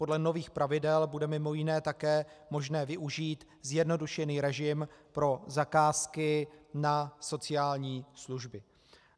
Podle nových pravidel bude mimo jiné také možné využít zjednodušený režim pro zakázky na sociální služby.